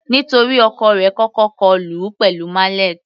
Nítorí ọkọ rẹ̀ kọ́kọ́ kọlù ú pẹ̀lú mallet.